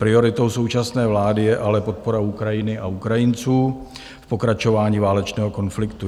Prioritou současné vlády je ale podpora Ukrajiny a Ukrajinců v pokračování válečného konfliktu.